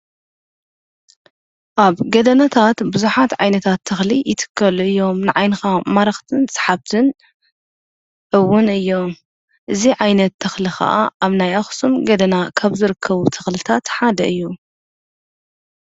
ኣብ ገደናታት ቡዛሓትዓይነታት ተክሊ ይትከሉ እዮም። ንዓይኒኻ መራክትን ሳሓብትን እዉን እዩም። እዚ ዓይነት ተክሊ ኻዓ ኣብ ናይ ኣኩሱም ገደና ከም ዝርከቡ ተክልታት ሓደ እዩ።